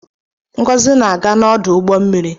Ngozi na-aga n'ọdụ ụgbọ mmiri.